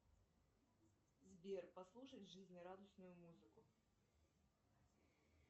сбер послушать жизнерадостную музыку